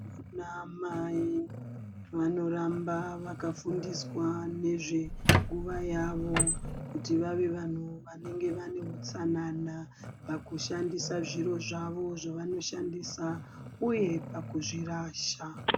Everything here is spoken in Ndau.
Anamai vanoramba vakafundiswa nezvenguva yavo, kuti vave vanhu vanenge vane utsanana pakushandisa zviro zvavo zvavanoshandisa uye pakuzvirasha.